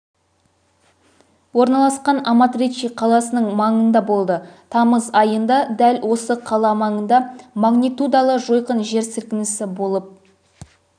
орналасқан аматриче қаласының маңындаболды тамыз айында дәл осы қала маңында магнитудалы жойқын жер сілкінісі болып